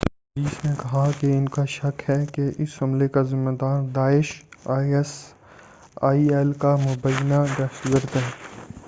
Police نے کہا کہ ان کا شک ہے کہ اس حملے کا ذمہ دار داعش آئی ایس آئی ایل کا مبّینہ دہشتگرد ہے۔